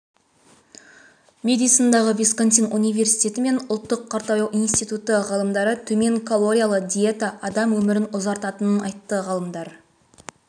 медисондағы висконсин университеті мен ұлттық қартаю институты ғалымдары төмен калориялы диета адам өмірін ұзартатынын айтты ғалымдар